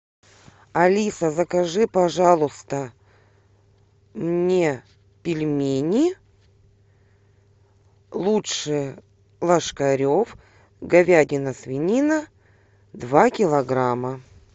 алиса закажи пожалуйста мне пельмени лучше ложкарев говядина свинина два килограмма